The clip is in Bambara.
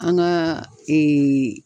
An ka